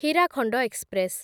Hirakhand express